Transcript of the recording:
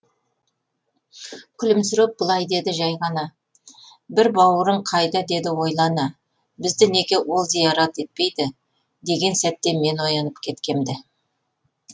күлімсіреп былай деді жай ғана бір бауырың қайда деді ойлана бізді неге ол зиярат етпейді деген сәтте мен оянып кеткемді